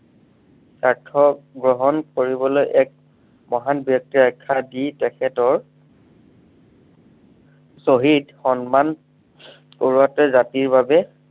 গ্ৰহণ কৰিবলৈ এক, মহান ব্য়ক্তিৰ আখ্য়া দি তেখেতৰ শ্বহীদ সন্মান, কৰোৱাটোৱই জাতিৰ বাবে